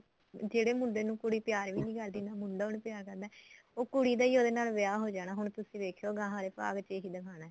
ਜਿਹੜੇ ਮੁੰਡੇ ਨੂੰ ਕੁੜੀ ਪਿਆਰ ਹੀ ਨਹੀਂ ਕਰਦੀ ਮੁੰਡਾ ਉਹਨੂੰ ਪਿਆਰ ਕਰਦਾ ਉਹ ਕੁੜੀ ਦਾ ਹੀ ਉਹਦੇ ਨਾਲ ਵਿਆਹ ਹੋ ਜਾਣਾ ਹੁਣ ਤੁਸੀਂ ਵੇਖਿਉ ਗਾਹ ਵਾਲੇ ਭਾਗ ਚ ਇਹੀ ਦਿਖਾਉਣਾ